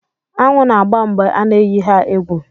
Aṅụ na-agba mgbe a na-eyi ha egwu